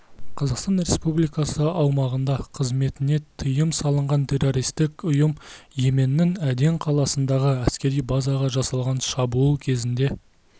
қазақстан республикасы аумағында қызметіне тиым салынған террористік ұйым йеменнің аден қаласындағы әскери базаға жасалған шабуыл кезінде